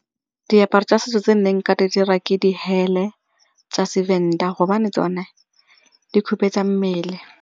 Diaparo tsa setso tse nna nka di dira ke di tsa seVenda gobane tsone di hupetsa mmele.